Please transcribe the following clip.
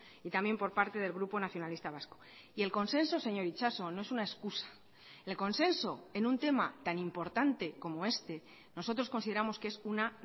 y también por parte del grupo nacionalista vasco y el consenso señor itxaso no es una excusa el consenso en un tema tan importante como este nosotros consideramos que es una